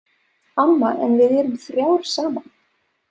Amma, en við erum þrjár saman.